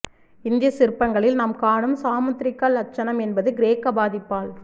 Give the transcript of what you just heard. இந்திய சிற்பங்களில் நாம் காணும் சாமுத்ரிகா லட்சணம் என்பது கிரேக்க பாதிப்பால்